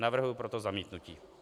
Navrhuji proto zamítnutí.